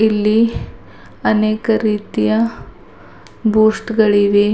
ಇಲ್ಲಿ ಅನೇಕ ರೀತಿಯ ಬೂಸ್ಟ್ ಗಳಿವೆ.